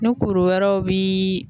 Ni kuru wɛrɛw biiii